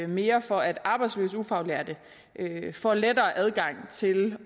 mere for at arbejdsløse ufaglærte får lettere adgang til